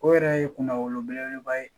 O yɛrɛ ye kunna wolo belebeleba ye